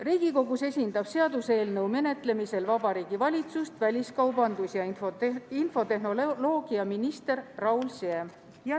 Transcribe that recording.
Riigikogus esindab seaduseelnõu menetlemisel Vabariigi Valitsust väliskaubandus- ja infotehnoloogiaminister Raul Siem.